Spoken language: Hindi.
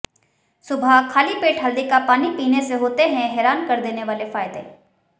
सुबह खाली पेट हल्दी का पानी पीने से होते हैं हैरान कर देने वाले फायदे